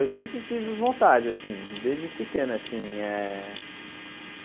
Eu sempre tive vontade assim, desde pequeno assim eh.